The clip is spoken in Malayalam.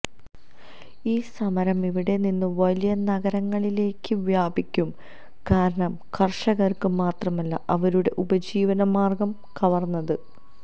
ഈ സമരം ഇവിടെ നിന്ന് വലിയ നഗരങ്ങളിലേക്ക് വ്യാപിക്കും കാരണം കര്ഷകര്ക്ക് മാത്രമല്ല അവരുടെ ഉപജീവനമാര്ഗം കവര്ന്നത്